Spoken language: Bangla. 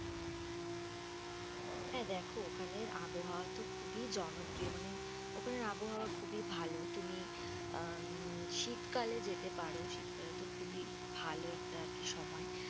হাঁ দেখো, ওখানের আবহাওয়া তো খুবই জনপ্রিয়। মানে ওখানের আবহাওয়া খুবই ভালো। তুমি উম শীতকালে যেতে পারো। শীতকাল তো খুবই ভালো একটা আর কি সময়।